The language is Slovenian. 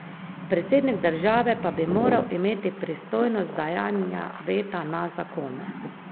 Predsednik države pa bi moral imeti pristojnost dajanja veta na zakone.